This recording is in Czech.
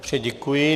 Děkuji.